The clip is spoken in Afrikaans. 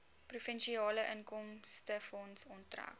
provinsiale inkomstefonds onttrek